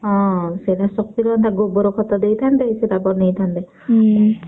ହଁ ସେଟା ଶକ୍ତି ରହନ୍ତା ଗୋବର ଖତ ଦେଇଥାନ୍ତେ ସେ ନେଇଥାନ୍ତେ।